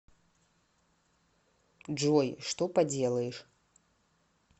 джой что поделаешь